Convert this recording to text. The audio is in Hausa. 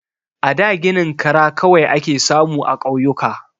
A da ginin kara kawai ake samu a ƙauyuka.